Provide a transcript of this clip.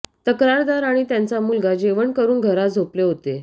तक्रारदार आणि त्यांचा मुलगा जेवण करून घरात झोपले होते